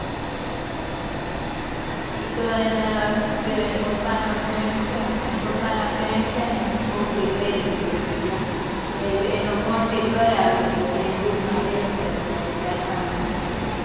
ઈ તો શું કેવાય એના pappa ના friend છે એની છોકરી ગયેલી જ હતી ત્યાં એનો contact કરવ્યો પછી આના room રે છે ચાર પાંચ જણા'રે છે